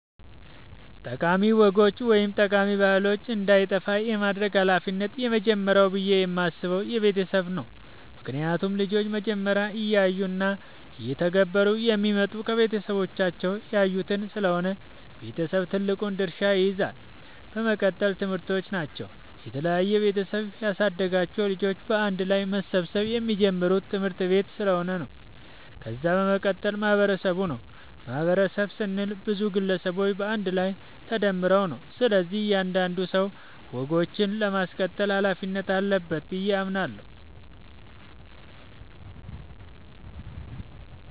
ጠቃሚ ወጎች ወይም ጠቃሚ ባህሎች እንዳይጠፋ የማድረግ ሀላፊነት የመጀመሪያው ብዬ የማስበው የቤተሰብ ነው ምክንያቱም ልጆች መጀመሪያ እያዩ እና እየተገበሩ የሚመጡት ከቤተሰባቸው ያዩትን ስለሆነ ቤተሰብ ትልቁን ድርሻ ይይዛል። በመቀጠል ትምህርቶች ናቸው፤ የተለያየ ቤተሰብ ያሳደጋቸው ልጆች በአንድ ላይ መሰብሰብ የሚጀምሩት ትምህርት-ቤት ስለሆነ። ከዛ በመቀጠል ማህበረሰቡ ነው። ማህበረሰብ ስንል ብዙ ግለሰቦች በአንድ ላይ ተደምረው ነው፤ ስለዚህ እያንዳንዱ ሰው ወጎችን ለማስቀጠል ሀላፊነት አለበት በዬ አምናለሁ።